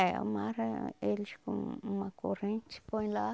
É, amarra eles com uma corrente, põe lá.